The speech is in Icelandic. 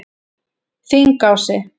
Þingási